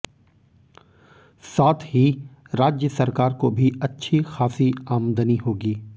साथ ही राज्य सरकार को भी अच्छी खासी आमदनी होगी